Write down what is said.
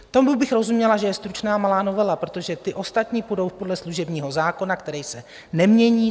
Tomu bych rozuměla, že je stručná malá novela, protože ti ostatní půjdou podle služebního zákona, který se nemění.